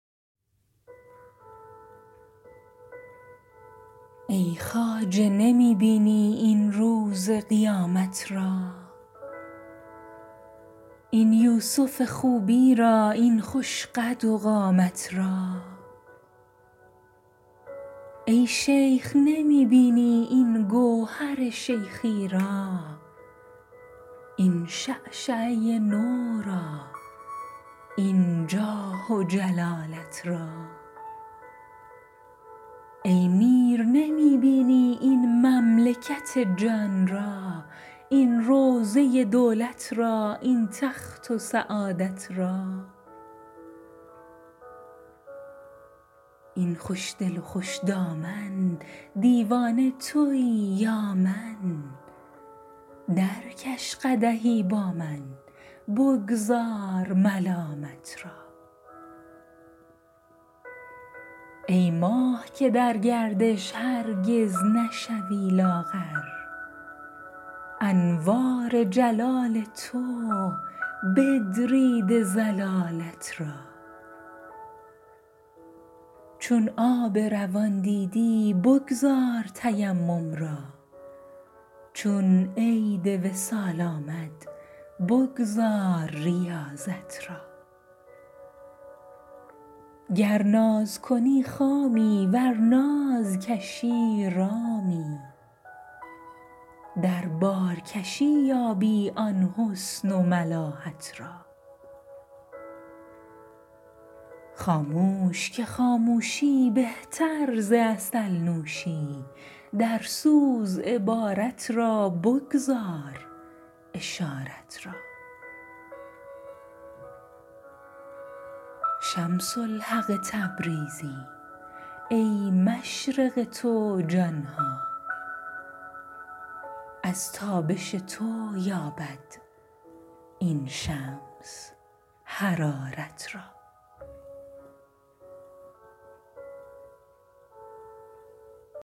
ای خواجه نمی بینی این روز قیامت را این یوسف خوبی را این خوش قد و قامت را ای شیخ نمی بینی این گوهر شیخی را این شعشعه نو را این جاه و جلالت را ای میر نمی بینی این مملکت جان را این روضه دولت را این تخت و سعادت را ای خوشدل و خوش دامن دیوانه توی یا من درکش قدحی با من بگذار ملامت را ای ماه که در گردش هرگز نشوی لاغر انوار جلال تو بدریده ضلالت را چون آب روان دیدی بگذار تیمم را چون عید وصال آمد بگذار ریاضت را گر ناز کنی خامی ور ناز کشی رامی در بارکشی یابی آن حسن و ملاحت را خاموش که خاموشی بهتر ز عسل نوشی درسوز عبارت را بگذار اشارت را شمس الحق تبریزی ای مشرق تو جان ها از تابش تو یابد این شمس حرارت را